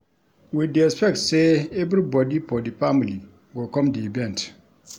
We dey expect sey everybodi for di family go come di event.